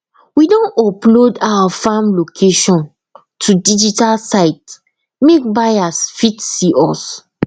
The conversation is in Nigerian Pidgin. we don upload our farm location to digital site make buyers fit see us